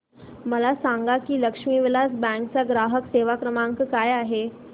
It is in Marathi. मला सांगा की लक्ष्मी विलास बँक चा ग्राहक सेवा क्रमांक काय आहे